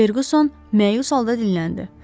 Fercuson məyus halda dinləndi.